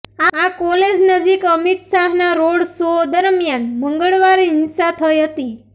આ કોલેજ નજીક અમિત શાહના રોડ શો દરમિયાન મંગળવારે હિંસા થઇ હતી